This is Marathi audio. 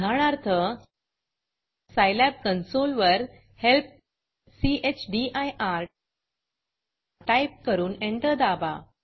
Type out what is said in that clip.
उदाहरणार्थ scilabसाईलॅब कन्सोल वर हेल्प चदिर टाईप करून एंटर दाबा